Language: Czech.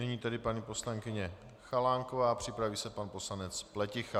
Nyní tedy paní poslankyně Chalánková, připraví se pan poslanec Pleticha.